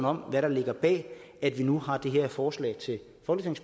om hvad der ligger bag at vi nu har det her forslag til